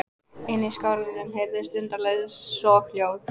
Inni í skálanum heyrðust undarleg soghljóð.